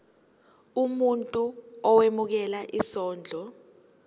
umuntu owemukela isondlo